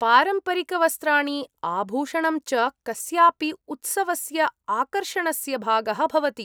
पारम्परिकवस्त्राणि आभूषणं च कस्यापि उत्सवस्य आकर्षणस्य भागः भवति।